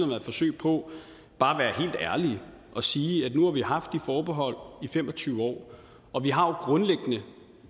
været forsøg på bare at ærlige og sige at nu har vi haft de forbehold i fem og tyve år